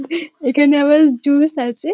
এখানে আবার জুস আছে।